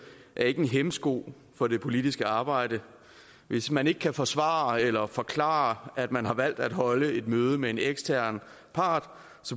er ikke en hæmsko for det politiske arbejde hvis man ikke kan forsvare eller forklare at man har valgt at holde et møde med en ekstern part